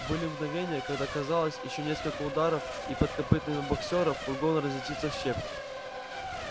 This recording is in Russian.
были мгновения когда казалось ещё несколько ударов и под копытами боксёра фургон разлетится в щепки